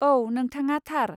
औ, नोंथाङा थार।